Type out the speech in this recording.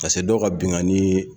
dɔw ka binkanni